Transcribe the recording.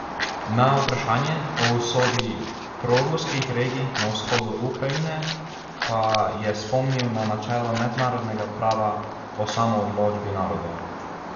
Na vprašanje o usodi proruskih regij na vzhodu Ukrajine pa je spomnil na načelo mednarodnega prava o samoodločbi narodov.